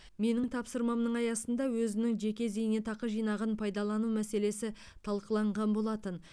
менің тапсырмамның аясында өзінің жеке зейнетақы жинағын пайдалану мәселесі талқыланған болатын